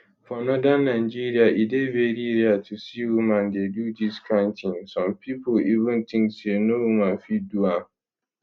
for northern nigeria e dey very rare to see woman dey do dis kain tin some pipo even think say no woman fit do am